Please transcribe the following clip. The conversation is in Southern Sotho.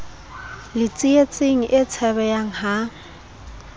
le tsietsing e tshabehang ha